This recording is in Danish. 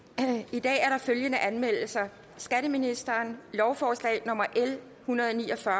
i dag er der følgende anmeldelser skatteministeren lovforslag nummer l en hundrede og ni og fyrre